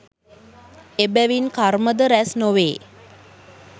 එබැවින් කර්මද රැස් නොවේ